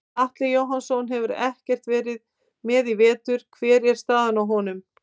Atli Jóhannsson hefur ekkert verið með í vetur hver er staðan á honum?